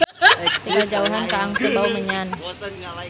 Ti kajauhan kaangse bau menyan.